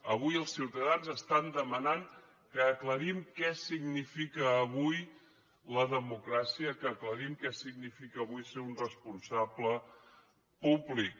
avui els ciutadans estan demanant que aclarim què significa avui la democràcia que aclarim què significa avui ser un responsable públic